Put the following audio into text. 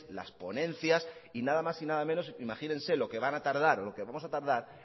las ponencias y nada más y nada menos imagínense lo que van a tardar o lo que vamos a tardar